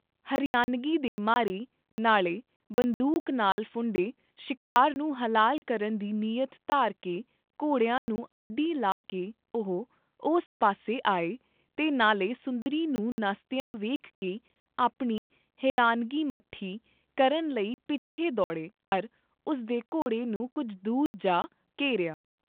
ਹਰਿਆਨਗੀ ਦੇ ਮਾਰੇ, ਨਾਲੇ ਬੰਦੂਕ ਨਾਲ ਫੁੰਡੇ ਸ਼ਿਕਾਰ ਨੂੰ ਹਲਾਲ ਕਰਨ ਦੀ ਨੀਯਤ ਧਾਰ ਕੇ ਘੋੜਿਆਂ ਨੂੰ ਅੱਡੀ ਲਾ ਕੇ ਓਹ ਉਸ ਪਾਸ ਆਏ ਤੇ ਨਾਲੇ ਸੁੰਦਰੀ ਨੂੰ ਨੱਸਦੀਆਂ ਵੇਖ ਕੇ ਆਪਣੀ ਹਰਿਆਨਗੀ ਮੱਠੀ ਕਰਨ ਲਈ ਪਿਛੇ ਦੌੜੇ ਅਰ ਉਸ ਦੇ ਘੋੜੇ ਨੂੰ ਕੁੱਝ ਦੂਰ ਜਾ ਘੇਰਿਆ।